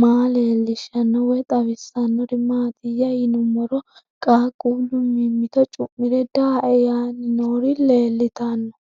maa leelishshanno woy xawisannori maattiya yinummoro qaaqullu mimitto cu'mire daae yaanni noori leelittanno